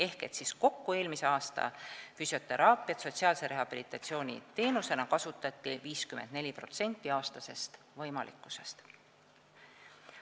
Ehk siis kokku kasutati eelmisel aastal füsioteraapiat sotsiaalse rehabilitatsiooni teenusena 54% sellest, mis oleks aasta jooksul võimalik olnud.